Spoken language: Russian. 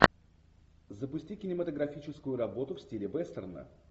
запусти кинематографическую работу в стиле вестерна